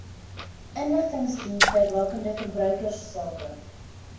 inligtingsdienste rakende verbruikersake